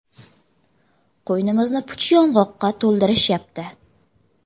Qo‘ynimizni puch yong‘oqqa to‘ldirishyapti.